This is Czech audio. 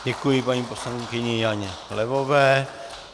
Děkuji paní poslankyni Janě Levové.